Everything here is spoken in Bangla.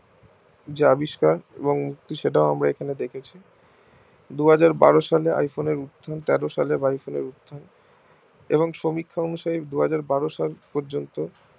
যে আবিষ্কার সেটাও আমরা এখানে দেখেছি দু হাজার বারো সালে iPhone এর উত্থান তেরো সালে iphone এর উত্থান এবং সমীক্ষা অনুযায়ী দু হাজার বারো সাল পর্যন্ত